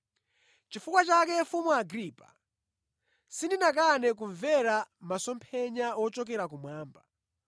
“Nʼchifukwa chake Mfumu Agripa, sindinakane kumvera masomphenya wochokera kumwamba.